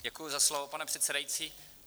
Děkuji za slovo, pane předsedající.